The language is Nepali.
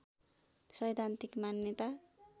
सैद्धान्तिक मान्यता